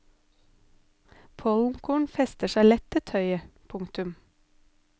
Pollenkorn fester seg lett til tøy. punktum